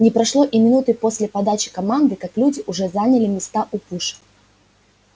не прошло и минуты после подачи команды как люди уже заняли места у пушек